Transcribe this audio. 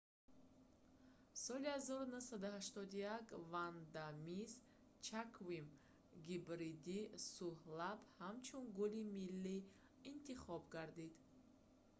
соли 1981 ванда мисс ҷаквим гибридии сӯҳлаб ҳамчун гули миллӣ интихоб гардид